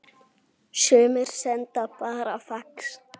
Sumir sendu bara fax